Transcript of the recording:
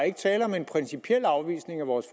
er tale om en principiel afvisning af vores